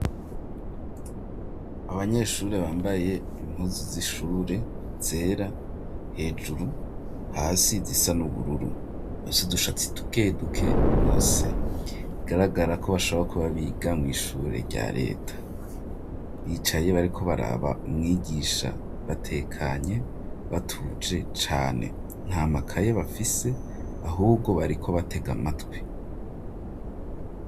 Abanyeshuri bambaye impuzu z'ishure ,zera ,hejuru, hasi zisa n'ubururu ,bafisudushatsi dukeduke bose, igaragara ko bashaboka kuba biga mu ishure rya leta ,bicaye bariko baraba umwigisha batekanye, batuje cane, nta makaye bafise ahubwo bariko batega matwi.